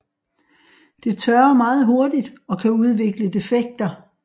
Det tørrer meget hurtigt og kan udvikle defekter